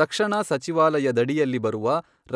ರಕ್ಷಣಾ ಸಚಿವಾಲಯದಡಿಯಲ್ಲಿ ಬರುವ